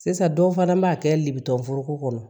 Sisan dɔw fana b'a kɛ libeforoko kɔnɔ